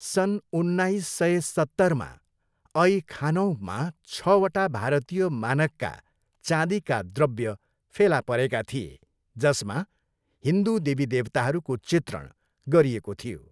सन् उन्नाइस सय सत्तरमा, ऐ खानौममा छवटा भारतीय मानकका चाँदीका द्रव्य फेला परेका थिए जसमा हिन्दू देवीदेवताहरूको चित्रण गरिएको थियो।